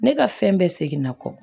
Ne ka fɛn bɛɛ segin na kɔ